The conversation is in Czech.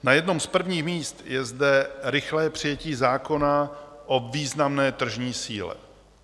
Na jednom z prvních míst je zde rychlé přijetí zákona o významné tržní síle.